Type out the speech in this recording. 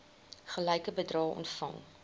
gelyke bedrae ontvang